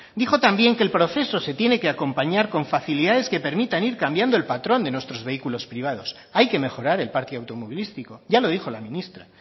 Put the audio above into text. dijo también que el proceso se tiene que acompañar con facilidades que permitan ir cambiando el patrón de nuestros vehículos privados hay que mejorar el parque automovilístico ya lo dijo la ministra